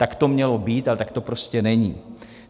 Tak to mělo být, ale tak to prostě není.